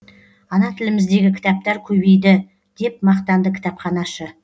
ана тіліміздегі кітаптар көбейді деп мақтанды кітапханашы